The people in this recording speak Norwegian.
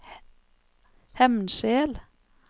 Hemnskjel